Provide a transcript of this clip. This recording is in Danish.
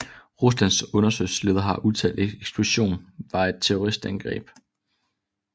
Ruslands undersøgelsesleder har udtalt at eksplosionen var et terroristangreb